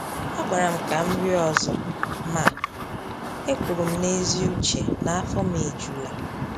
Ha gwara m ka m rie ọzọ, ma e kwuru m n’ezi uche na af ọ m ejula.